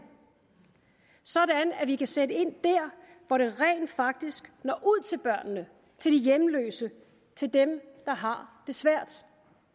sådan at vi kan sætte ind der hvor det rent faktisk når ud til børnene til de hjemløse til dem der har det svært